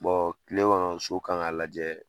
kile kɔnɔ so kan ka lajɛ